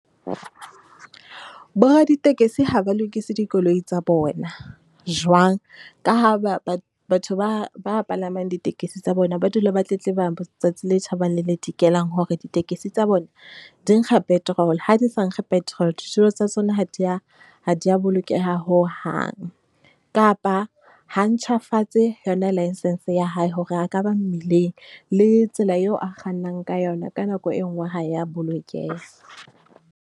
Boraditekesi ha ba lokise dikoloi tsa bona, jwang? Ka ha batho ba ba palamang ditekesi tsa bona, ba dula ba tletleba tsatsi le tjhabang le le dikelang hore ditekesi tsa bona di nkga petrol, ha di sa nkge petrol, ditulo tsa tsona ha di ya, ha di ya bolokeha hohang. Kapa ha a ntjhafatse yona license ya hae hore a ka ba mmileng le tsela eo a kgannang ka yona ka nako e nngwe ha e ya bolokeha.